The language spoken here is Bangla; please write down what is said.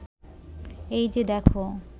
এই যে দেখ